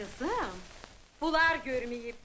Qəzəm, onlar görməyib.